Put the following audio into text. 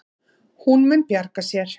Hún mun bjarga sér.